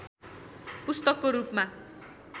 पुस्तकको रूपमा